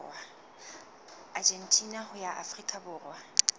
argentina ho ya afrika borwa